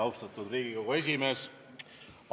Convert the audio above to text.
Austatud Riigikogu esimees!